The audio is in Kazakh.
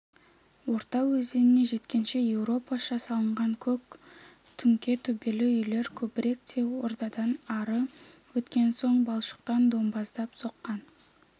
орда өзеніне жеткенше еуропаша салынған көк түңке төбелі үйлер көбірек те ордадан ары өткен соң балшықтан домбаздап соққан